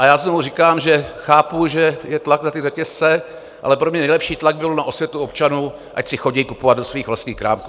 A já znovu říkám, že chápu, že je tlak na ty řetězce, ale pro mě nejlepší tlak byl na osvětu občanů, ať si chodí kupovat do svých vlastních krámků.